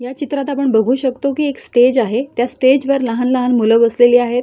या चित्रात आपण बघू शकतो की एक स्टेज आहे त्या स्टेज वर लहान लहान मुलं बसलेली आहेत.